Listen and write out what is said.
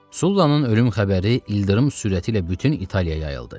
Sullannın ölüm xəbəri ildırım sürəti ilə bütün İtaliyaya yayıldı.